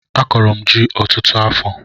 Akọrọ m ji ọtụtụ afọ